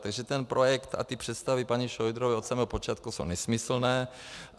Takže ten projekt a ty představy paní Šojdrové od samého počátku jsou nesmyslné.